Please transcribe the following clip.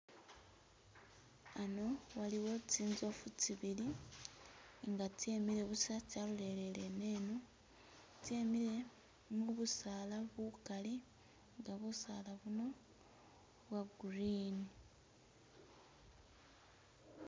Ano waliwo tsinzofu tsibili nga tsemile busa tsalolele ineno tsemile mubisaala bukali nga busaala buno bwa green.